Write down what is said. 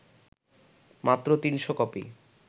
মাত্র ৩০০ কপি